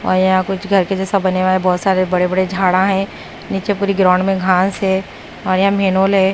और यहां कुछ घर के जैसा बनेवा है बहोत सारे बड़े बड़े झाड़ है नीचे पूरी ग्राउंड में घास है और यहां मेनॉल हैं--